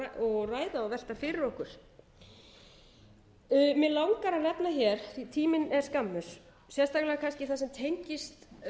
og velta fyrir okkur mig langar að nefna hér því tíminn er skammur sérstaklega kannski það sem tengist